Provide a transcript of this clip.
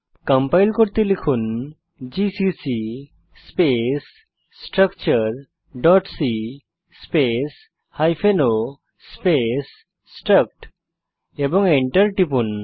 compile করতে লিখুন GCC space structureসি space hyphen o space struct এবং enter টিপুন